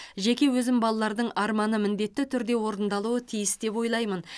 жеке өзім балалардың арманы міндетті түрде орындалуы тиіс деп ойлаймын